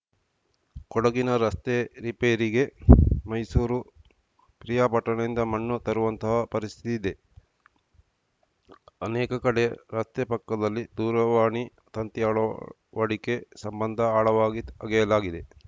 ಕೊಡಗಿನ ರಸ್ತೆ ರಿಪೇರಿಗೆ ಮೈಸೂರು ಪಿರಿಯಾಪಟ್ಟಣದಿಂದ ಮಣ್ಣು ತರುವಂತಹ ಪರಿಸ್ಥಿತಿ ಇದೆ ಅನೇಕ ಕಡೆ ರಸ್ತೆ ಪಕ್ಕದಲ್ಲೇ ದೂರವಾಣಿ ತಂತಿ ಅಳವಡಿಕೆ ಸಂಬಂಧ ಆಳವಾಗಿ ಅಗೆಯಲಾಗಿದೆ